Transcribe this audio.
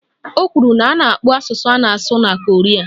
O kwuru na a na-akpọ asụsụ a na-asụ na Koria